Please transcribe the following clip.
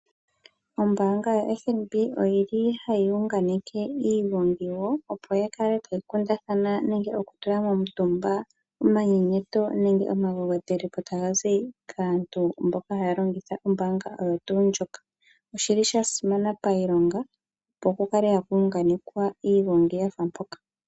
Ombaanga yoFNB oyi li hayi unganeke iigongi yawo opo ya kale tayi kundathana nenge okutula momutumba omanyenyeto nenge omagwedhele po taga zi kaantu, mboka haya longitha ombaanga oyo tuu ndjoka. Oshili sha simana pailonga opo ku kale haku unganekwa iigongi ya fa mpaka.